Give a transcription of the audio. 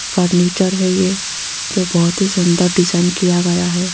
Furniture है ये जो बहोत ही सुंदर डिजाइन किया गया है।